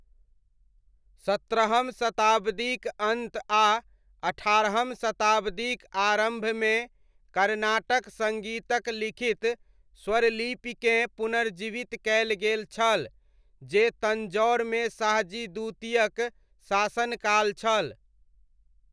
सत्रहम शताब्दीक अन्त आ अठारहम शताब्दीक आरम्भमे कर्नाटक सङ्गीतक लिखित स्वरलिपिकेँ पुनर्जीवित कयल गेल छल जे तञ्जौरमे शाहजी द्वितीयक शासन काल छल।